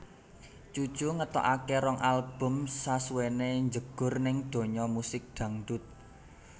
Cucu ngetokake rong album sasuwené njegur ning donya musik dangdut